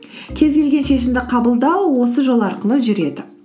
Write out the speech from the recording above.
кез келген шешімді қабылдау осы жол арқылы жүреді